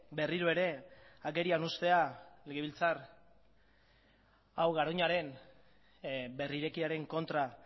berriro ere agerian uztea legebiltzar hau garoñaren berrirekiaren kontra